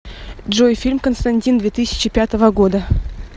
джой фильм константин две тысячи пятого года